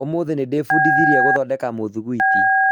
ũmũthĩ nĩndĩbundithirie gũthondeka mũthugwiti